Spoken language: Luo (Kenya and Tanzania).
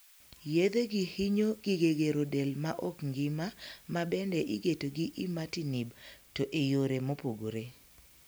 Yedhegi hinyo gige gero del ma ok ngima ma bende igeto gi 'imatinib', to e yoo mopogore.